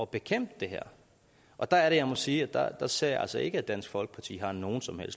bekæmpe det her og der er det jeg må sige at der ser jeg altså ikke at dansk folkeparti har nogen